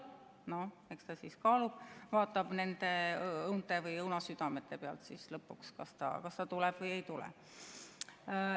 Noh, eks ta siis kaalub, vaatab nende õunte või õunasüdamete pealt lõpuks, kas ta tuleb või ei tule.